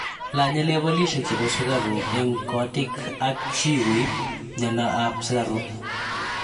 lanye levelishek chebo sukaruk eng kotik at chi koib myanta ab sukaruk